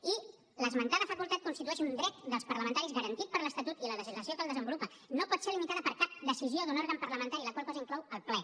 i l’esmentada facultat constitueix un dret dels parlamentaris garantit per l’estatut i la legislació que el desenvolupa no pot ser limitada per cap decisió d’un òrgan parlamentari la qual cosa inclou el ple